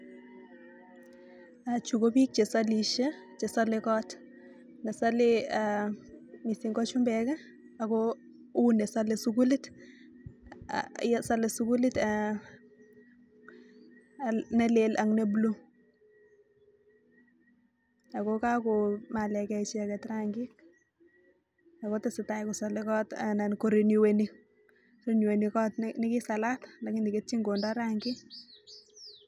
Chuu kobik chesalee kot missing ko chumbek che salee sukulit nelel ako nebuluu